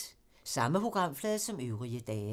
Samme programflade som øvrige dage